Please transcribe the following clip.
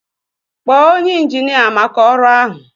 Kpọọ onye injinia maka ọrụ ahụ